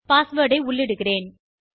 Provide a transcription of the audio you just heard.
password ஐ உள்ளிடுகிறேன்